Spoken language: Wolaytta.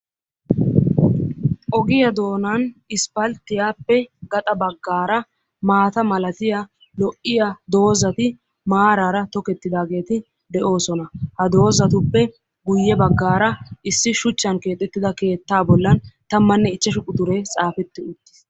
ogiyaa doonan isppaltiyaappe gaxa bagaara maata malatiyaa lo'iya dozati maarara tokettidaageeti de'oosona. ha dozatuppe ya bagaara issi shuchan keexettida keettaa bollan tammanne ichashu quxuree xaafeti utiis.